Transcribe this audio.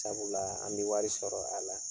Sabula an be wari sɔrɔ a la.